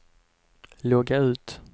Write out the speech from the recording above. logga ut